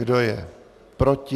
Kdo je proti?